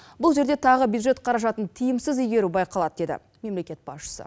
бұл жерде тағы бюджет қаражатын тиімсіз игеру байқалады дейді мемлекет басшысы